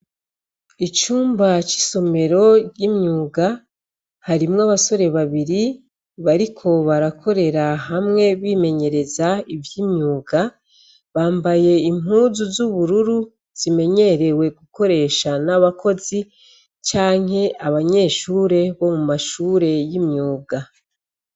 Icumba c'isomero ry'imyuga, harimwo abasore babiri bariko barakorera hamwe bimenyereza ivy'imyuga. Bambaye impuzu z'ubururu zimenyerewe gukoresha n'abakozi canke abanyeshure bo mu mashure y'imyuga.